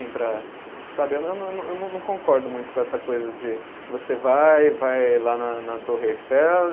Sabe, eu não, eu não concordo muito com essa coisa de você vai, vai lá na na Torre Eiffel e